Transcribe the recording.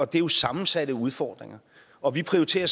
det er jo sammensatte udfordringer og vi prioriterer